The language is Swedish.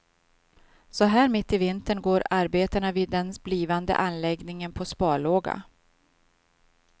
Så här mitt i vintern går arbetena vid den blivande anläggningen på sparlåga.